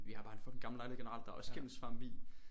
Vi har bare en fucking gammel lejlighed generelt der er også skimmelsvamp i